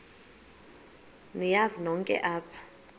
niyazi nonk apha